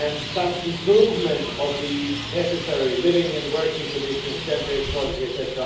Some improvement of the necessary living and working conditions, gender equality, etc.,